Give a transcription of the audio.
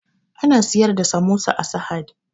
Ana siyar da samosa a sahad